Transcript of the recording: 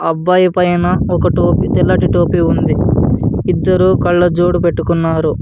అబ్బాయి పైన ఒక టో టోపీ తెలటి టోపీ ఉంది. ఇద్దరూ కళ్ళజోడు పెట్టుకున్నారు.